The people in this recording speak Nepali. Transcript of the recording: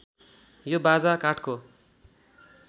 यो बाजा काठको